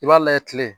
I b'a layɛ kile